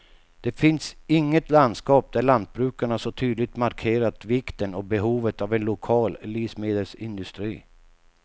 Det finns inget landskap där lantbrukarna så tydligt markerat vikten och behovet av en lokal livsmedelsindustri.